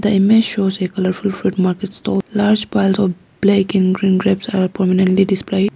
The image shows a colourful fruit market stall large piles of black and green grapes are prominently displayed.